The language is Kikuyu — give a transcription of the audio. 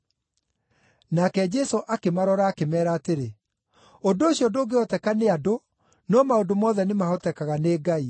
Nake Jesũ akĩmarora akĩmeera atĩrĩ, “Ũndũ ũcio ndũngĩhoteka nĩ andũ, no maũndũ mothe nĩmahotekaga nĩ Ngai.”